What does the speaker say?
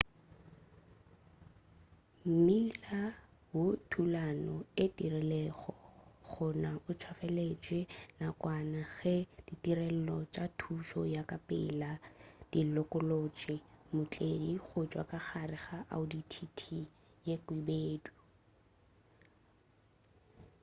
mmila wo thulano e diregilego gona o tswaletšwe nakwana ge ditirelo tša thušo ya ka pela di lokolotšego mootledi gotšwa ka gare ga audi tt ye khwibedu